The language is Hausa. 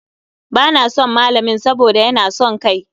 Ba na son malamin saboda ya na son kai.